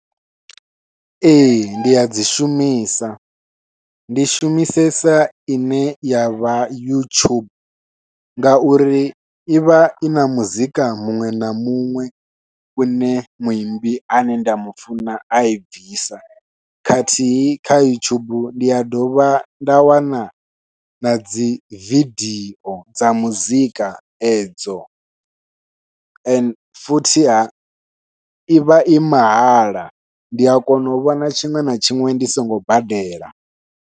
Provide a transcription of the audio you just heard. Ee ndi a dzi shumisa ndi shumisesa ine ya vha youtube ngauri i vha ina muzika muṅwe na muṅwe une muimbi ane nda mufuna a i bvisa khathihi kha youtube ndi a dovha nda wana nadzi vidio dza muzika edzo ende futhi ha i vha i mahala ndi a kona u vhona tshiṅwe na tshiṅwe ndi songo badela.